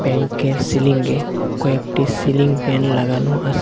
ব্যাংকের সিলিঙ্গে কয়েকটি সিলিং ফ্যান লাগানো আসে।